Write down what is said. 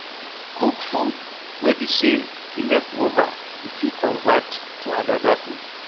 Cook food wey be sey di leftover you fit convert to anoda food